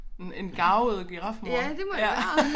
Men en garvet girafmor ja